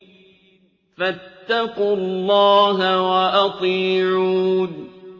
فَاتَّقُوا اللَّهَ وَأَطِيعُونِ